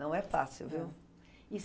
Não é fácil, viu? E